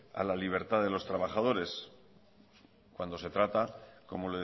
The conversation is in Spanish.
a la libertad de los trabajadores cuando se trata como